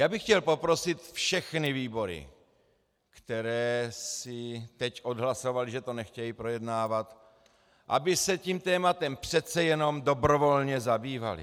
Já bych chtěl poprosit všechny výbory, které si teď odhlasovaly, že to nechtějí projednávat, aby se tím tématem přece jenom dobrovolně zabývaly.